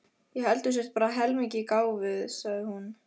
Ég held þú sért bara heilmikið gáfuð, sagði hún.